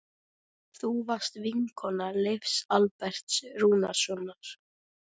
Þú varst vinkona Leifs Alberts Rúnarssonar.